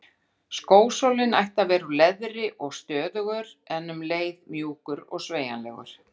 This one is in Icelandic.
Skósólinn ætti að vera úr leðri og stöðugur en um leið mjúkur og sveigjanlegur.